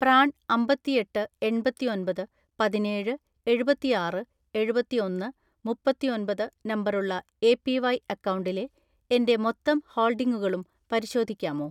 PRAN അമ്പത്തിഎട്ട് എണ്‍പത്തിഒന്‍പത് പതിനേഴ് എഴുപത്തിആറ് എഴുപത്തിഒന്ന് മുപ്പത്തിഒന്‍പത് നമ്പറുള്ള എപിവൈ അക്കൗണ്ടിലെ എന്റെ മൊത്തം ഹോൾഡിംഗുകളും പരിശോധിക്കാമോ?